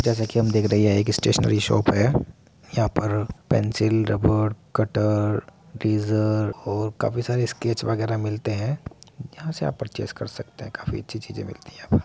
जैसा कि हम देख रहे हैं यह एक स्टेशनरी शॉप है। यहां पर पेंसिल रबर कटर बीजर और काफी सारे स्केच वगैरा मिलते हैं। यहां से आप परचेज कर सकते है। काफी अच्छी चीजें मिलती हैं यहां पर।